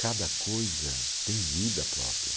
Cada coisa tem vida própria.